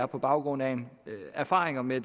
på baggrund af erfaringer med